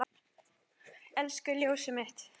Elsku ljósið mitt.